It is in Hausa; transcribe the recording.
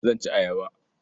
Zan ci ayaba.